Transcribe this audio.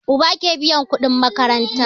Uba ke biyan kudin makaranta